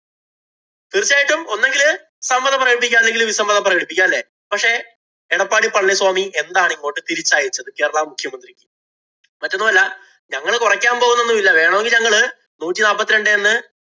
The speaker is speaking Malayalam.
തീര്‍ച്ചയായിട്ടും ഒന്നുകില് സമ്മതം പ്രകടിപ്പിക്കാം. അല്ലെങ്കില്‍ വിസമ്മതം പ്രകടിപ്പിക്കാം. അല്ലേ? പക്ഷേ, എടപ്പാളി പളനി സ്വാമി എന്താണ് ഇങ്ങോട്ട് തിരിച്ചയച്ചത് കേരളാ മുഖ്യമന്ത്രിക്ക്? മറ്റൊന്നുമല്ല, ഞങ്ങള് കൊറയ്ക്കാന്‍ പോകുന്നതൊന്നുമില്ല. വേണമെങ്കില്‍ ഞങ്ങള് നൂറ്റി നാപ്പത്തി രണ്ടേന്ന്